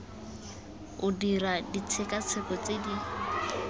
o dirwa ditshekatsheko tse di